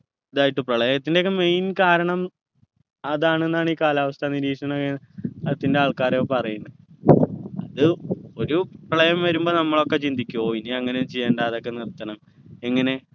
ഇതായിട്ട് പ്രളയത്തിൻ്റെ ഒക്കെ main കാരണം അതാണെന്നാണ് ഈ കാലാവസ്ഥ നിരീക്ഷണ ത്തിൻ്റെ ആൾക്കാർ ഒക്കെ പറയുന്നെ അത് ഒരു പ്രളയം വരുമ്പോ നമ്മളോക്കെ ചിന്തിക്കും ഓ ഇനി അങ്ങനെ ഒന്നും ചെയ്യണ്ട അതൊക്കെ നിർത്തണം എങ്ങനെ